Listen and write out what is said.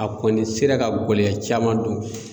A kɔni sera ka gɔlɛya caman don.